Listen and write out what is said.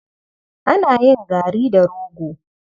Ana yin gari da rogo.